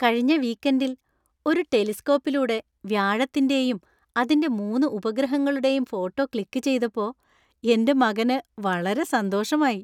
കഴിഞ്ഞ വീക്കെൻഡിൽ ഒരു ടെലിസ്കോപ്പിലൂടെ വ്യാഴത്തിന്റെയും അതിന്‍റെ മൂന്ന് ഉപഗ്രഹങ്ങളുടെയും ഫോട്ടോ ക്ലിക്കു ചെയ്‌തപ്പോ എന്റെ മകന് വളരെ സന്തോഷമായി .